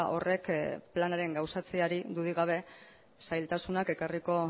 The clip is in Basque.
horrek planaren gauzatzeari dudarik gabe zailtasunak ekarriko